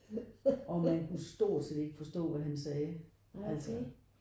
Og man kunne stort set ikke forstå hvad han sagde altså